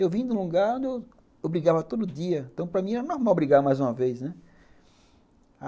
Eu vim de um lugar onde eu brigava todo dia, então para mim era normal brigar mais uma vez, né.